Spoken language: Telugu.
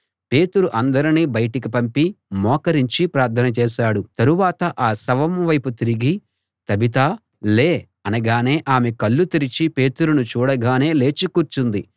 పేతురు అందరినీ బయటికి పంపి మోకరించి ప్రార్థన చేశాడు తరువాత ఆ శవం వైపు తిరిగి తబితా లే అనగానే ఆమె కళ్ళు తెరచి పేతురును చూడగానే లేచి కూర్చుంది